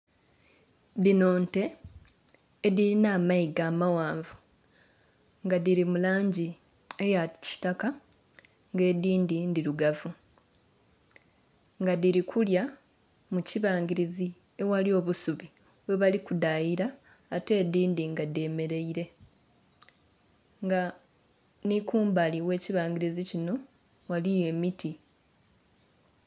Dino nte edhilina amayiga amaghanvu nga dhiri mu langi eya kitaka ng'edhindhi ndhirugavu. Nga dhiri kulya mu kibangilizi eghali obusubi, ghebali kudhayira ate edhindhi nga dhemeleire. Nga nhi kumbali gh'ekibangilizi kino ghaliyo emiti.